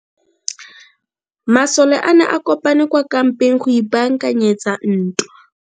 Masole a ne a kopane kwa kampeng go ipaakanyetsa ntwa.